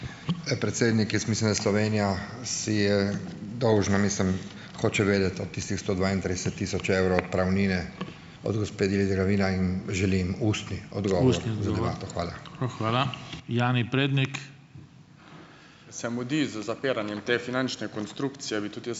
Predsednik, jaz mislim, da Slovenija si je dolžna, mislim, hočem vedeti, a tistih sto dvaintrideset tisoč evrov odpravnine od gospe Lidie Glavina in želim ustni odgovor.